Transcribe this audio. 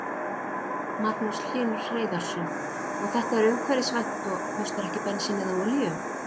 Magnús Hlynur Hreiðarsson: Og þetta er umhverfisvænt og kostar ekki bensín eða olíu?